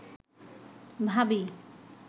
ভাবী